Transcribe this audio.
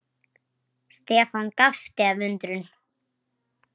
Stefán gapti af undrun.